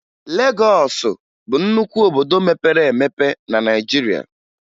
Legọọsụ bụ nnukwu obodo mepere emepe na Naịjirịa